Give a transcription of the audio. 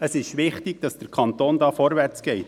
Es ist wichtig, dass der Kanton hier vorwärts macht.